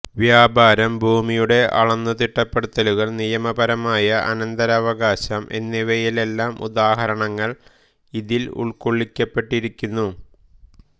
വ്യാപാരം ഭൂമിയുടെ അളന്നുതിട്ടപ്പെടുത്തലുകൾ നിയമപരമായ അനന്തരവകാശം എന്നിവയിലെല്ലാം ഉദാഹരണങ്ങൾ അതിൽ ഉൾക്കൊള്ളിക്കപ്പെട്ടിരിക്കുന്നു